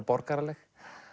borgaraleg